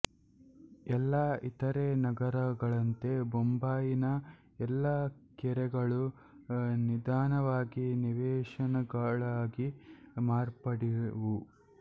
ಎಲ್ಲಾ ಇತರೆ ನಗರಗಳಂತೆ ಬೊಂಬಾಯಿನ ಎಲ್ಲ ಕೆರೆಗಳೂ ನಿಧಾನವಾಗಿ ನಿವೇಶನಗಳಾಗಿ ಮಾರ್ಪಡ್ಡವು